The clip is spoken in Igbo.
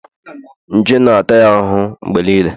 nje na-ata ya ahụhụ mgbe niile